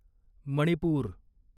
Manipur